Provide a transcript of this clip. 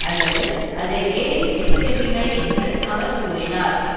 அல்லது அதை ஏறி மிதிக்கவில்லை என்று அவர் கூறினார்